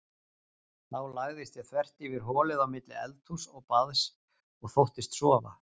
Þá lagðist ég þvert yfir holið á milli eldhúss og baðs og þóttist sofa.